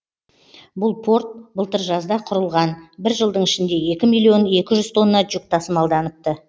бұл порт былтыр жазда құрылған бір жылдың ішінде екі миллион екі жүз тонна жүк тасымалданыпты